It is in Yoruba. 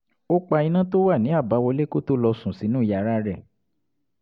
ó pa iná tó wà ní àbáwọlé kó tó lọ sùn sínú yàrá rẹ̀